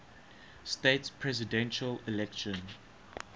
states presidential election